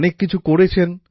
অনেক কিছু করেছেন